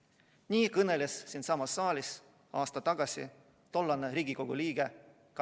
" Nii kõneles siinsamas saalis aasta tagasi tollane Riigikogu liige